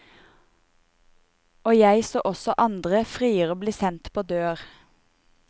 Og jeg så også andre friere bli sendt på dør.